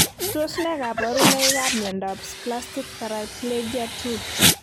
Tos ne kaborunoikab miondop spastic paraplegia 2?